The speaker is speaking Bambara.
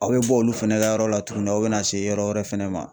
Aw bɛ bɔ olu fana ka yɔrɔ la tuguni aw bɛna se yɔrɔ wɛrɛ fɛnɛ ma.